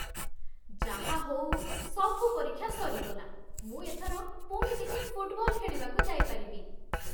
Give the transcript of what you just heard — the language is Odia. ଯାହା ହଉ ସବୁ ପରୀକ୍ଷା ସରିଗଲା, ମୁଁ ଏଥର ପୁଣି ଟିକେ ଫୁଟବଲ ଖେଳିବାକୁ ଯାଇପାରିବି ।